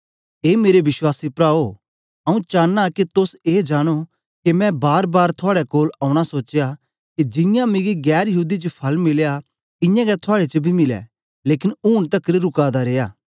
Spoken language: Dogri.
ए मेरे विश्वासी प्राओ आंऊँ चांना के तोस ए जानो के मैं बारबार थुआड़े कोल औना सोचया के जियां मिगी गैर यहूदी च फल मिलया इयां गै थुआड़े च बी मिलै लेकन ऊन तकर रुका दा रिया